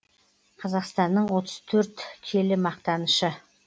қазақстанның отыз төрт келі мақтанышы